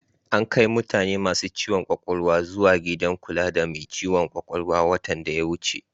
Ankai mutane masu ciwon ƙwaƙwalwa zuwa gidan kula da mai ciwon ƙwaƙwalwa a watan da ya wuce.